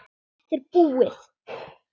Þetta er búið